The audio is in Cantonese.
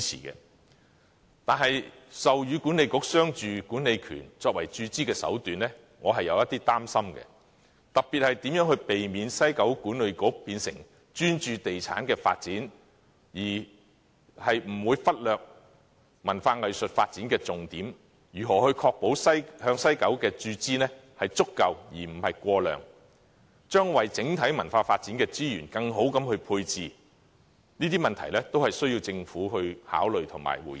然而，授予西九管理局商住管理權作為注資的手段，我是有一點擔心的，特別是如何避免西九管理局變成專注地產發展，忽略文化藝術發展的重點，以及如何確保向西九文化區的注資是足夠而不是過量，如何為整體文化發展的資源作更好的配置，這些問題都需要政府考慮及回應。